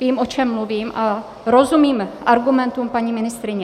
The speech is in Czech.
Vím, o čem mluvím, a rozumíme argumentům paní ministryně.